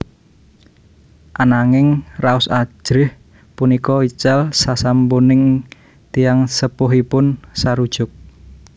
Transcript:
Ananging raos ajrih punika ical sasampuning tiyang sepuhipun sarujuk